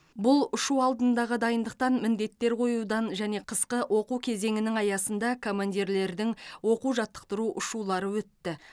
бұл ұшу алдындағы дайындықтан міндеттер қоюдан және қысқы оқу кезеңінің аясында командирлердің оқу жаттықтыру ұшулары өтті